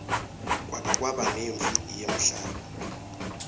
kwake kwaba nemphi yemhlaba